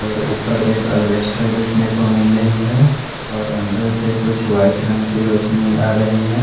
और ऊपर एक अलबेस्टर देख ने को मिल रहे है और अंदर से कुछ वाइट रंग की रोशनी आ रही है।